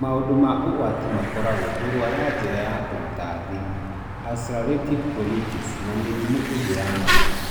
maũndũ ma ũgwati makoragwo kũrũara njĩra ya kũruta thiri, ulcerative colitis na mĩrĩmũ ĩngĩ ya mani.